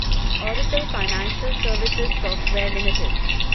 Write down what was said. Oracle financial service software limited